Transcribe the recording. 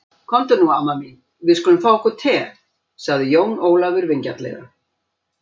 Komdu nú amma mín, við skulum fá okkur te, sagði Jón Ólafur vingjarnlega.